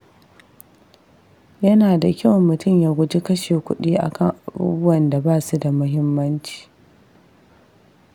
Yana da kyau mutum ya guji kashe kuɗi akan abubuwan da ba su da muhimmanci.